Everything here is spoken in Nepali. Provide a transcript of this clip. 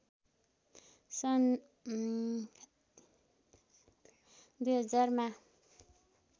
सन् २००० मा